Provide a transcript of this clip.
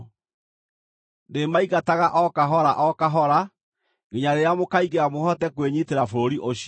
Ndĩmaingataga o kahora o kahora, nginya rĩrĩa mũkaingĩha mũhote kwĩnyiitĩra bũrũri ũcio.